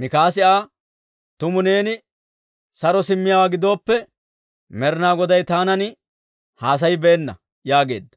Mikaasi Aa, «Tumu neeni saro simmiyaawaa gidooppe, Med'inaa Goday taanan haasayibeenna» yaageedda.